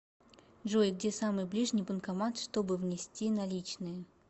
джой где самый ближний банкомат чтобы внести наличные